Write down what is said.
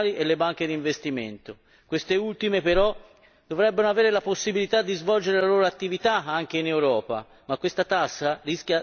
Queste ultime, però, dovrebbero avere la possibilità di svolgere la loro attività anche in Europa, ma questa tassa rischia di stroncarle già in partenza.